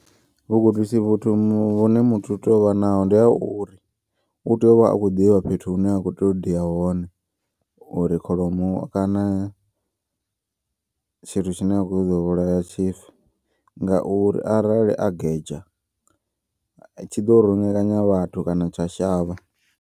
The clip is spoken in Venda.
Vhugudisi vhuthu vhune muthu utea uvha naho ndi ha uri utea uvha akho ḓivha fhethu hune a khou teyo diya hone. Uri kholomo kana tshithu tshine a khou ṱoḓa u vhulaya tshife. Ngauri arali a gedzha tshi ḓo rungekanya vhathu kana tsha shavha.